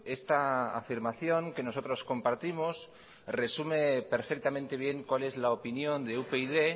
esta afirmación que nosotros compartimos resume perfectamente bien cuál es la opinión de upyd